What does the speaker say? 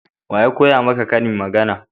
waya koya maka ƙarin magana?